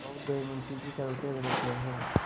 बहुत देर मुंशी जी करवटें बदलते रहे